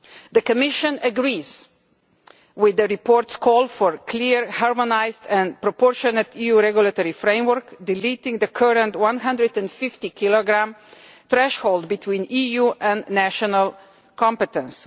The Commission agrees with the report's call for a clear, harmonised and proportionate EU regulatory framework, removing the current 150 kilogramme threshold separating EU and national competence.